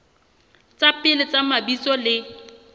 tsa pele tsa mabitso le